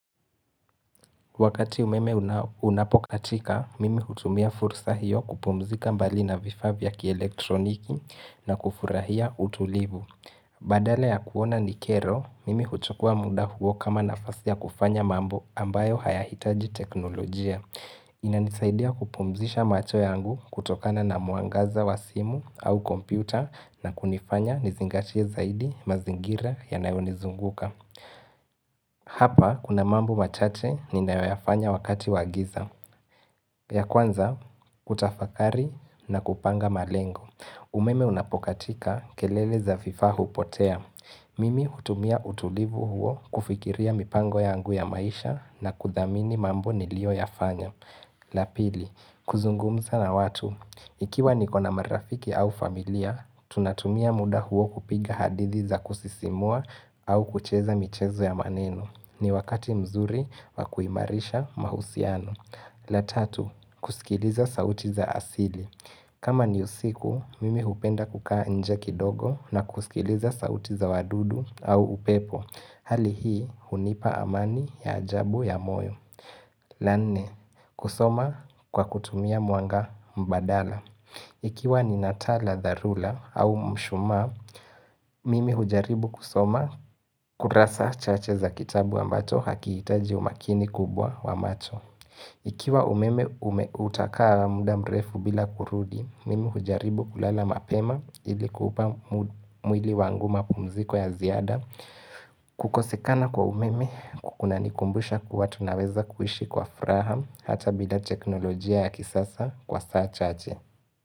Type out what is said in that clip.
Wakati umeme unapokatika, mimi hutumia fursa hiyo kupumzika mbali na vifaa vya kielektroniki na kufurahia utulivu. Badala ya kuona nikero, mimi huchukua muda huo kama nafasi ya kufanya mambo ambayo hayahitaji teknolojia. Inanisaidia kupumzisha macho yangu kutokana na mwangaza wa simu au kompyuta na kunifanya nizingatie zaidi mazingira yanayonizunguka. Hapa kuna mambo machache ninayoyafanya wakati wa giza. Ya kwanza, hutafakari na kupanga malengo. Umeme unapokatika kelele za vifaa hupotea Mimi hutumia utulivu huo kufikiria mipango yangu ya maisha na kudhamini mambo nilioyafanya la pili, kuzungumza na watu Ikiwa nikona marafiki au familia, tunatumia muda huo kupiga hadithi za kusisimua au kucheza michezo ya maneno ni wakati mzuri wa kuimarisha mahusiano la tatu, kusikiliza sauti za asili. Kama ni usiku, mimi hupenda kukaa nje kidogo na kusikiliza sauti za wadudu au upepo Hali hii, hunipa amani ya ajabu ya moyo la nne, kusoma kwa kutumia mwanga mbadala Ikiwa nina taa la dharura au mshuma, mimi hujaribu kusoma kurasa chache za kitabu ambacho hakihitaji umakini kubwa wa macho. Ikiwa umeme utakaa muda mrefu bila kurudi, mimi hujaribu kulala mapema ilikuupa mwili wangu mapumziko ya ziada. Kukosekana kwa umeme kunanikumbusha kuwa tunaweza kuishi kwa furaha hata bila teknolojia ya kisasa kwa saa chache.